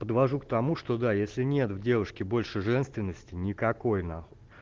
подвожу к тому что да если нет в девушке больше женственности никакой нахуй